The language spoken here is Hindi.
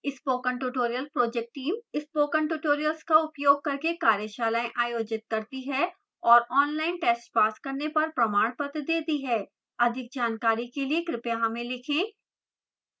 spoken tutorial project team spoken tutorials का उपयोग करके कार्यशालाएँ आयोजित करती है और online tests पास करने पर प्रमाणपत्र देती है अधिक जानकारी के लिए कृपया हमें लिखें